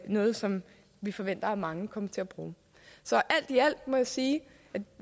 noget som vi forventer at mange kommer til at bruge så alt i alt må jeg sige at